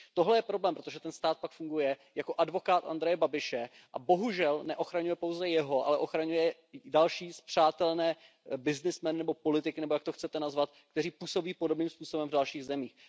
Tohle je problém, protože ten stát pak funguje jako advokát Andreje Babiše a bohužel neochraňuje pouze jeho, ale ochraňuje i další spřátelené byznysmeny nebo politiky nebo jak je chcete nazvat, kteří působí podobným způsobem v dalších zemích.